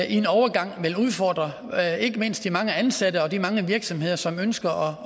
en overgang vil udfordre ikke mindst de mange ansatte og de mange virksomheder som ønsker